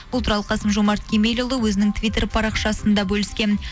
бұл туралы қасым жомарт кемелұлы өзінің твиттер парақшасында бөліскен